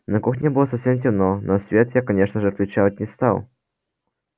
на кухне было совсем темно но свет я конечно же включать не стал